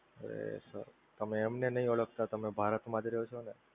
અરે sir તમે એમને નહિ ઓડખતા તમે ભારતમાં જ રહો છો ને?